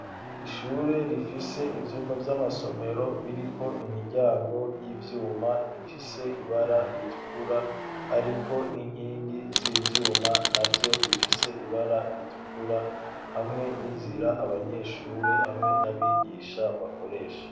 Ishure rifise ivyumba by'amasomero biri ko imiryango y'ivyumba ifise ibara ritukura ariko n'inkingi z'ivyuma navyo bifise ibara ritukura hamwe n'inzira abanyeshure hamwe n'abigisha bakoresha.